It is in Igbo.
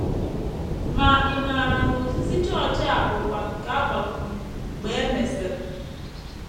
Ma ị̀ maara na ozizi chọọchị a bụkwa nke a gbakwụnyere mgbe e mesịrị?